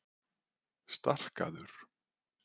Starkaður